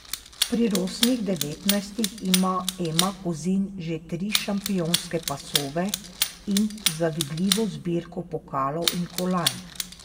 Pri rosnih devetnajstih ima Ema Kozin že tri šampionske pasove in zavidljivo zbirko pokalov in kolajn.